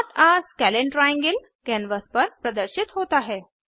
note आ scalene triangle canvas पर प्रदर्शित होता है